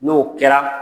N'o kɛra